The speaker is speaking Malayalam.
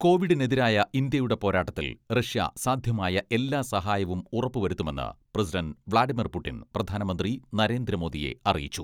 കോവിഡിനെതിരായ ഇന്ത്യയുടെ പോരാട്ടത്തിൽ റഷ്യ സാധ്യമായ എല്ലാ സഹായവും ഉറപ്പുവരുത്തുമെന്ന് പ്രസിഡണ്ട് വ്ലാഡിമർ പുടിൻ പ്രധാനമന്ത്രി നരേന്ദ്രമോദിയെ അറിയിച്ചു.